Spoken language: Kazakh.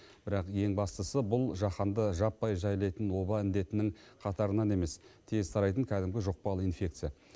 бірақ ең бастысы бұл жаһанды жаппай жайлайтын оба індетінің қатарынан емес тез тарайтын кәдімгі жұқпалы инфекция